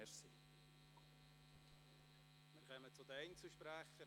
Wir kommen zu den Einzelsprechern.